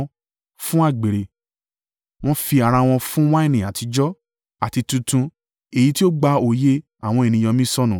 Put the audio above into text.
fún àgbèrè; wọ́n fi ara wọn fún wáìnì àtijọ́, àti tuntun èyí tó gba òye àwọn ènìyàn mi sọnù.